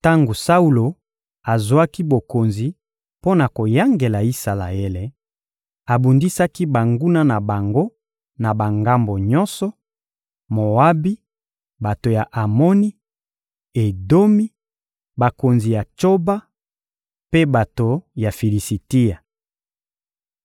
Tango Saulo azwaki bokonzi mpo na koyangela Isalaele, abundisaki banguna na bango na bangambo nyonso: Moabi, bato ya Amoni, Edomi, bakonzi ya Tsoba, mpe bato ya Filisitia.